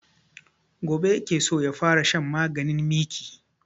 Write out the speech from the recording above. Gobe ya ke so ya fara shan maganin miki